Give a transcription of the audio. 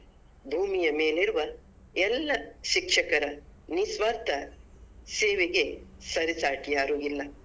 ಭೂಮಿಯ ಮೇಲಿರುವ ಎಲ್ಲ ಶಿಕ್ಷಕರ ನಿಸ್ವಾರ್ಥ ಸೇವೆಗೆ ಸರಿಸಾಟಿ ಯಾರು ಇಲ್ಲ.